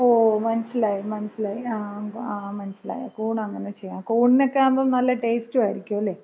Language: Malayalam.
ഓ മനസ്സിലായി മനസ്സിലായി. ആ മനസ്സിലായി കൂൺ അങ്ങനെ ചെയ്യാം ആ കൂണിനക്കയാകുമ്പോ നല്ല ടേസ്റ്റും ആയിരിക്കും അല്ലേ?